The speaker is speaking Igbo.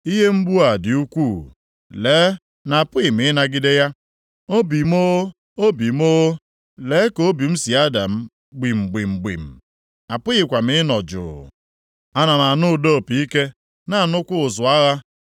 Ihe mgbu a dị ukwuu. Lee na apụghị m ịnagide ya. Obi m o, obi m o! Lee ka obi m si ada m gbim gbim gbim. Apụghịkwa m ịnọ jụụ. Ana m anụ ụda opi ike, na-anụkwa ụzụ agha.